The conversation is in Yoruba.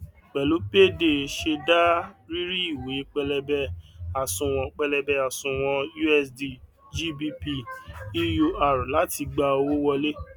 pẹlú payday ṣẹdá rírí ìwé pẹlẹbẹ àsùnwòn pẹlẹbẹ àsùnwòn usd gbp eur láti gba owó wọlé